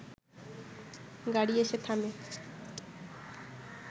গাড়ি এসে থামে